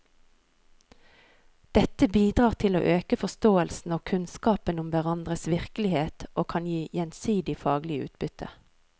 Dette bidrar til å øke forståelsen og kunnskapen om hverandres virkelighet og kan gi gjensidig faglig utbytte.